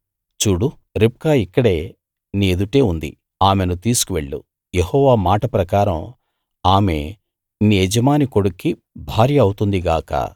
చూడు రిబ్కా ఇక్కడే నీ ఎదుటే ఉంది ఆమెను తీసుకు వెళ్ళు యెహోవా మాట ప్రకారం ఆమె నీ యజమాని కొడుక్కి భార్య అవుతుంది గాక